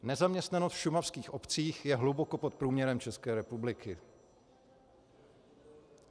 Nezaměstnanost v šumavských obcích je hluboko pod průměrem České republiky.